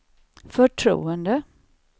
förtroende